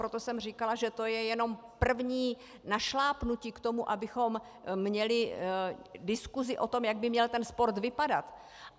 Proto jsem říkala, že to je jenom první našlápnutí k tomu, abychom měli diskusi o tom, jak by měl ten sport vypadat.